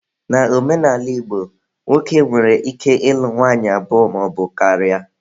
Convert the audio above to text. Na omenala Igbo, nwoke nwere ike ịlụ nwanyị abụọ maọbu karịa.